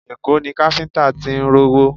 Èkó ni káfíńtà tí ń rówó